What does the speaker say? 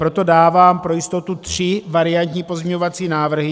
Proto dávám pro jistotu tři variantní pozměňovací návrhy.